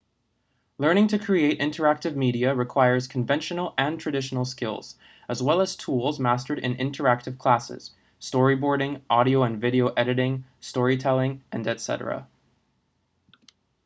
learning to create interactive media requires conventional and traditional skills as well as tools mastered in interactive classes storyboarding audio and video editing story telling etc.